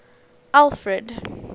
alfred